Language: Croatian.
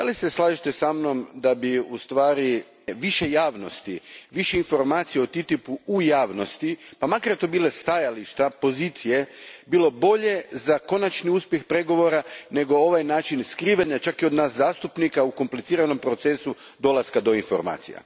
Slažete li se sa mnom da bi ustvari više javnosti, više informacija o TTIP u u javnosti, pa makar to bila stajališta, pozicije, bilo bolje za konačni uspjeh pregovora nego ovaj način skrivene, čak i od nas zastupnika, u kompliciranom procesu dolaska do informacija?